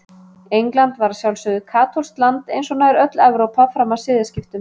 England var að sjálfsögðu katólskt land eins og nær öll Evrópa fram að siðaskiptum.